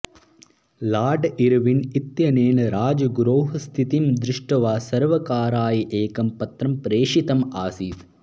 lord Irwin इत्यनेन राजगुरोः स्थितिं दृष्ट्वा सर्वकाराय एकं पत्रं प्रेषितम् आसीत्